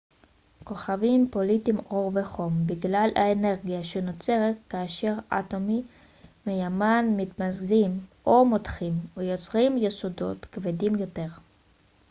כוכבים פולטים אור וחום בגלל האנרגיה שנוצרת כאשר אטומי מימן מתמזגים או מותכים ויוצרים יסודות כבדים יותר